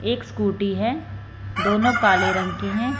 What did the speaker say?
एक स्कूटी हैं दोनों काले रंग की हैं।